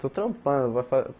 Estou trampando. Vai